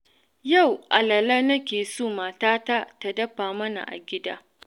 Yau alala nake so matata ta dafa mana a gida.